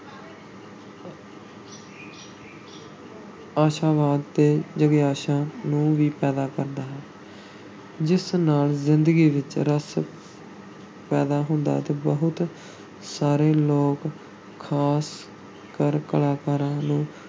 ਆਸ਼ਾਵਾਦ ਤੇ ਜਿਗਿਆਸਾ ਨੂੰ ਵੀ ਪੈਦਾ ਕਰਦਾ ਹੈ ਜਿਸ ਨਾਲ ਜ਼ਿੰਦਗੀ ਵਿੱਚ ਰਸ ਪੈਦਾ ਹੁੰਦਾ ਹੈ ਤੇ ਬਹੁਤ ਸਾਰੇ ਲੋਕਾਂ, ਖ਼ਾਸ ਕਰ ਕਲਾਕਾਰਾਂ ਨੂੰ